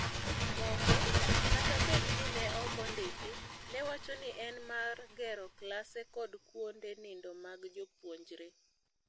Moko, kata bed ni ne okondiki, newacho ni en mar gero klase kod kuonde nindo mag jopuonjre.